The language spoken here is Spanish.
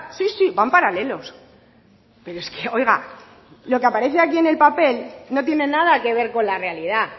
sí sí van paralelos pero es que oiga lo que aparece aquí en el papel no tiene nada que ver con la realidad